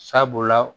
Sabula